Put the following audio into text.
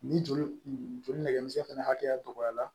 Ni joli nɛgɛmisɛn fɛnɛ hakɛya dɔgɔyara